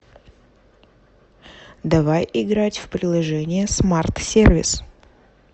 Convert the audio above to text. давай играть в приложение смарт сервис